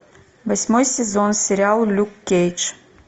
восьмой сезон сериал люк кейдж